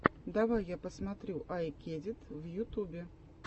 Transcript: давай я посмотрю ай кедит в ютубе